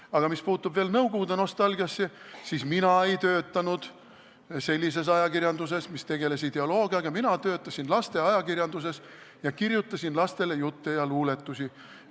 Aga mis puutub veel nõukogude nostalgiasse, siis mina ei töötanud sellises ajakirjanduses, mis tegeles ideoloogiaga, mina töötasin lasteajakirjanduses, kirjutasin lastele jutte ja luuletusi.